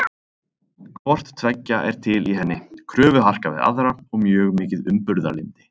Hvort tveggja er til í henni, kröfuharka við aðra og mjög mikið umburðarlyndi.